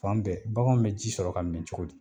Fan bɛɛ baganw be ji sɔrɔ ka min cogo di